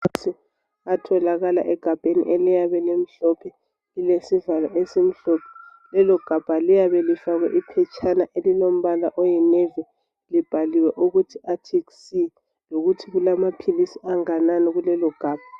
Maphilisi atholakala egabheni, eliyabe limhlophe. Lilesivalo esimhlophe. Lelogabha liyabe lifakwe iphetshana elilombala oyinavy. Libhaliwe ukuthi ARCTIC SEA. Lokuthi kulamaphilisi anganani, kulelogabha.